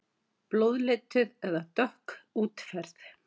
Blóðlituð eða dökk útferð.